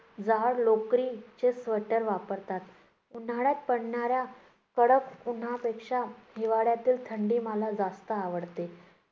जाड लोकरीचे स्वेटर वापरतात. उन्हाळ्यात पडणाऱ्या कडक उन्हापेक्षा हिवाळ्यातील थंडी मला जास्त आवडते.